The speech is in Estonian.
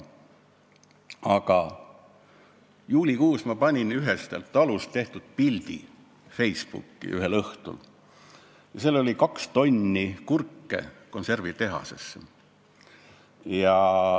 Ühel juulikuu õhtul ma panin Facebooki ühest talust tehtud pildi, kus oli kaks tonni kurke, mis läksid konservitehasesse.